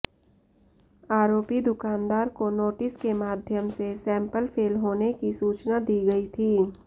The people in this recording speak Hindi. आरोपी दुकानदार को नोटिस के माध्यम से सैंपल फेल होने की सूचना दी गई थी